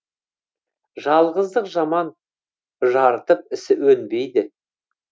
жалғыздық жаман жарытып ісі өнбейді